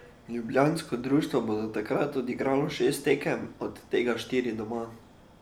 Ljubljansko društvo bo do takrat odigralo šest tekem, od tega štiri doma.